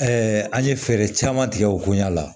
an ye fɛɛrɛ caman tigɛ o kun ya la